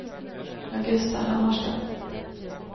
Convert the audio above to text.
Augusta Hammarström